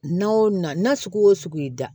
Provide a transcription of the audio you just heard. N'a o na na sugu o sugu y'i da